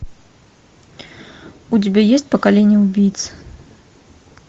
у тебя есть поколение убийц